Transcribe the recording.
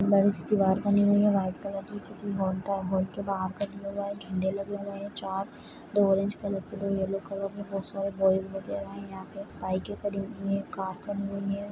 दिवार बनी हुई है वाइट कलर की झण्डे लगे हुए है। चार दो ऑरेज कलर के दो येल्लो कलर के बाइके खड़ी हुई है। कार खड़ी--